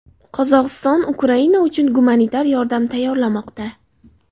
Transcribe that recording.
Qozog‘iston Ukraina uchun gumanitar yordam tayyorlamoqda.